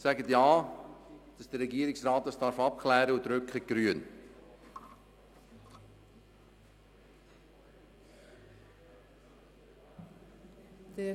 Sagen Sie Ja, damit es der Regierungsrat abklären darf und drücken Sie «grün».